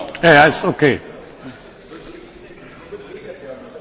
Caro collega, le spiego con semplicità.